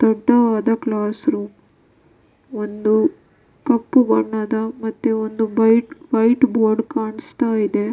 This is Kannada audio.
ದಟ್ಟವಾದ ಕ್ಲಾಸ್ ರೂಮ್ ಒಂದು ಕಪ್ಪು ಬಣ್ಣದ ಮತ್ತು ಒಂದು ಬೈಟ್ ವೈಟ್ ಬೋರ್ಡ್ ಕಾಣಿಸ್ತಾ ಇದೆ.